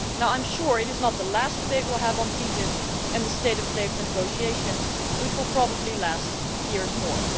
I am sure it is not the last debate we will have on TTIP and the state of play of the negotiations, which will probably last years more.